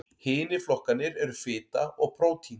Hinir flokkarnir eru fita og prótín.